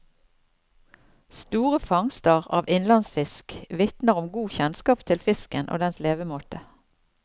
Store fangster av innlandsfisk vitner om god kjennskap til fisken og dens levemåte.